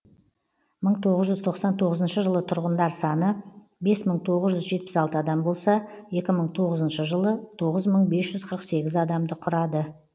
мың тоғыз жүз тоқсан тоғызыншы жылы тұрғындар саны бес мың тоғыз жүз жетпіс алты адам болса екі мың тоғызыншы жылы тоғыз мың бес жүз қырық сегіз адамды құрады